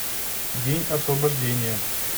день освобождения